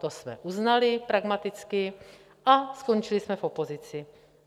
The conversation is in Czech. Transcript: To jsme uznali pragmaticky a skončili jsme v opozici.